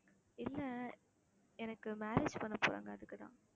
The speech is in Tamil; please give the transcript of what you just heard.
இல்லை எனக்கு marriage பண்ண போறாங்க அதுக்குத்தான்